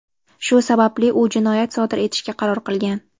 Shu sababli u jinoyat sodir etishga qaror qilgan.